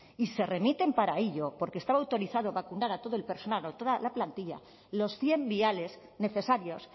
y se remiten para ello porque estaba autorizado vacunar a todo el personal o a toda la plantilla los cien viales necesarios